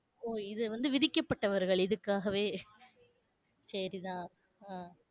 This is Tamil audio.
ஓ இது வந்து விதிக்கப்பட்டவர்கள் இதுக்காகவே? சரிதான். ஆஹ்